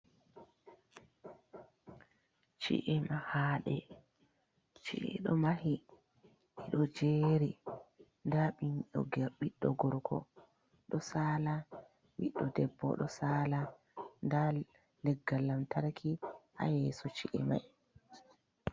ci'e mahaɗe. ci'edo mahi ɗiɗo jeri da binɗo gerr biddo gorgo do sala, biddo debbo do sala, nda leggal lam tarki ha yeso ci’emai.